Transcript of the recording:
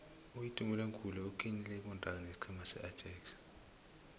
uitumeleng khune utlikitle ikontraga nesiqhema seajax